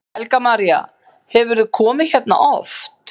Helga María: Hefurðu komið hérna oft?